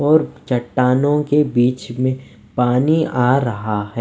और चट्टानों के बीच में पानी आ रहा है।